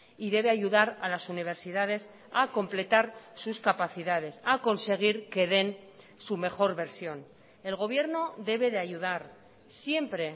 y debe ayudar a las universidades a completar sus capacidades a conseguir que den su mejor versión el gobierno debe de ayudar siempre